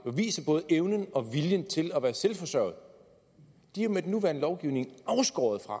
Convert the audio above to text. og viser både evnen og viljen til at være selvforsørgende er jo med den nuværende lovgivning afskåret fra